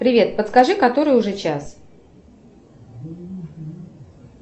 привет подскажи который уже час